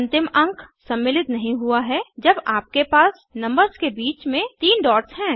अंतिम अंक सम्मिलित नहीं हुआ है जब आपके पास नंबर्स के बीच में तीन डॉट्स हैं